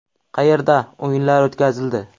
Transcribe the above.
Qayerda?” o‘yinlari o‘tkazildi.